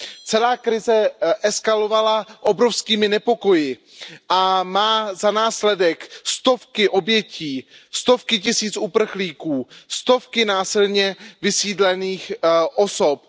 Celá krize eskalovala obrovskými nepokoji a má za následek stovky obětí, stovky tisíc uprchlíků, stovky násilně vysídlených osob.